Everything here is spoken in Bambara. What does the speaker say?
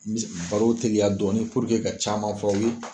N baro tigiya dɔɔnin ka caman fɔ aw ye